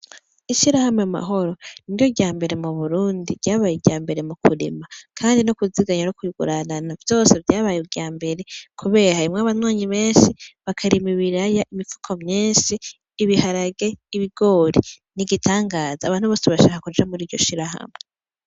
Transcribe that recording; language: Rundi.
Ishirahamwe Mahoro niryo ryambere mu Burundi ryabaye iryambere mukurima kandi no kuziganya ,no kuguranana kandi vyose ryabaye iryambere kubera harimwo abanywanyi benshi bakarima ibiraya imifuko myinshi ibiharage, ibigori n' igitangaza abantu bose bashaka kuja muriryo shirahamwe.